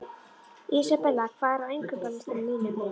Isabella, hvað er á innkaupalistanum mínum?